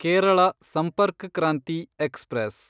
Kerala Sampark Kranti express